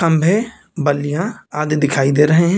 खंभे बल्लियां आदि दिखाई दे रहे हैं।